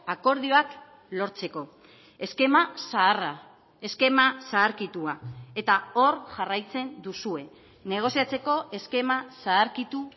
akordioak lortzeko eskema zaharra eskema zaharkitua eta hor jarraitzen duzue negoziatzeko eskema zaharkitu